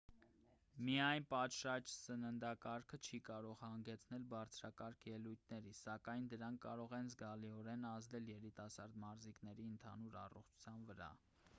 միայն պատշաճ սննդակարգը չի կարող հանգեցնել բարձրակարգ ելույթների սակայն դրանք կարող են զգալիորեն ազդել երիտասարդ մարզիկների ընդհանուր առողջության վրա